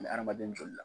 Ni hadamaden joli la